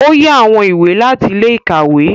O yá awọn ìwé láti ilé-ìkawe.